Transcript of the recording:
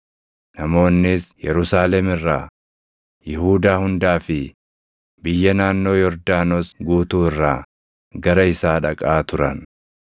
Namoonnis Yerusaalem irraa, Yihuudaa hundaa fi biyya naannoo Yordaanos guutuu irraa gara isaa dhaqaa turan.